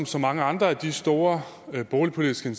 så mange andre af de store boligpolitiske